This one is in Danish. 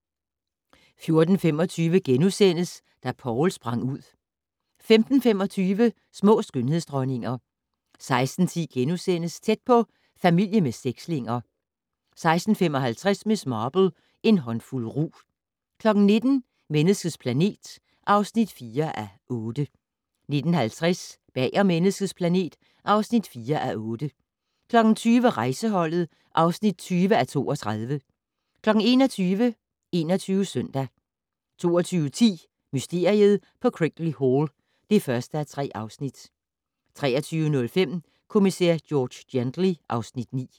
14:25: Da Poul sprang ud * 15:25: Små skønhedsdronninger 16:10: Tæt på: Familie med sekslinger * 16:55: Miss Marple: En håndfuld rug 19:00: Menneskets planet (4:8) 19:50: Bag om Menneskets planet (4:8) 20:00: Rejseholdet (20:32) 21:00: 21 Søndag 22:10: Mysteriet på Crickley Hall (1:3) 23:05: Kommissær George Gently (Afs. 9)